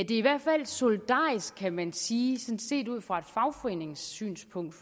i hvert fald solidarisk kan man sige set ud fra et fagforeningssynspunkt